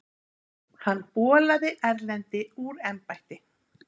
Hann bolaði Erlendi úr embætti.